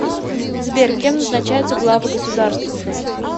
сбер кем назначаются главы государства